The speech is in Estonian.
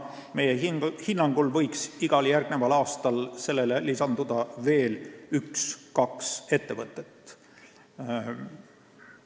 Meie hinnangul võiks igal järgmisel aastal lisanduda veel üks-kaks ettevõtet.